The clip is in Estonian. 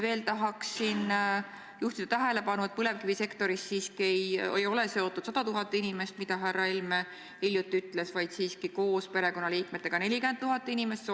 Veel tahaksin juhtida tähelepanu sellele, et põlevkivisektoriga ei ole siiski seotud 100 000 inimest, nagu härra Helme hiljuti ütles, vaid koos perekonnaliikmetega 40 000 inimest.